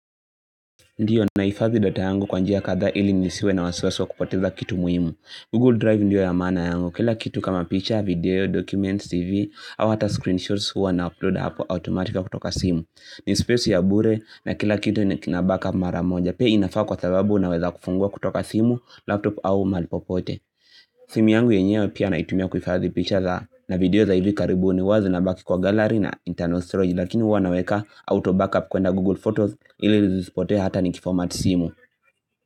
Ndio, naifadhi data yangu kwa njia kadhaa ili nisiwe na wasiwasi wa kupoteza kitu muhimu. Google Drive ndiyo ya maana yangu. Kila kitu kama picture, video, document, CV au hata screenshots huwa na upload hapo automatic kutoka simu. Ni space ya bure na kila kitu na backup mara moja. Pia inafaa kwa sababu naweza kufungua kutoka simu, laptop au mahali popote. Simu yangu yenyewe pia naitumia kuhifadhi picha za na video za hivi karibuni huwa zinabaki kwa gallery na internal storage. Lakini huwa naweka auto backup kuenda Google Photos ili zisipotee hata ni kifomati simu.